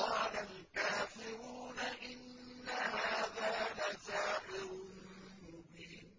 قَالَ الْكَافِرُونَ إِنَّ هَٰذَا لَسَاحِرٌ مُّبِينٌ